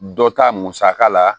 Dɔ ta musaka la